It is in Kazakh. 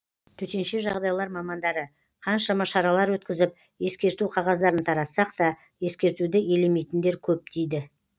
төтенше жағдайлар мамандары қаншама шаралар өткізіп ескерту қағаздарын таратсақ та ескертуді елемейтіндер көп дейді